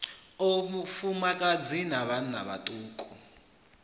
o vhafumakadzi na vhanna vhaṱuku